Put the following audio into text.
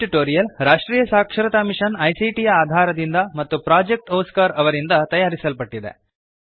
ಈ ಟ್ಯುಟೋರಿಯಲ್ ರಾಷ್ಟ್ರೀಯ ಸಾಕ್ಷರತಾ ಮಿಶನ್ ಐಸಿಟಿ ಯ ಆಧಾರದಿಂದ ಮತ್ತು ಪ್ರೊಜೆಕ್ಟ್ ಒಸ್ಕಾರ್ ಅವರಿಂದ ತಯಾರಿಸಲ್ಪಟ್ಟಿದೆ